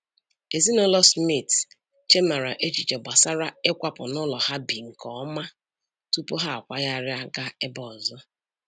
Ezinụlọ Smith chemara echiche gbasara ịkwapụ n'ụlọ ha bi nke ọma tupu ha akwagharịa gaa ebe ọzọ